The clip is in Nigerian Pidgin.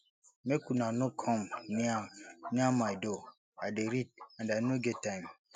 make una no come near near my door i dey read and i no get time